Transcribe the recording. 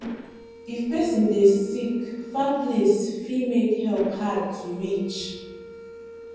if person dey sick far place fit make help hard to reach.